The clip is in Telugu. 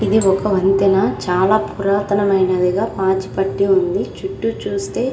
ఇది ఒక వంతెన. చాలా పురాతనమైనదిగా పాచి పట్టి ఉంది. చుట్టూ చూస్తే --